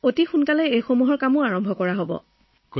সেই কাম অতি সোনকালে আৰম্ভ হব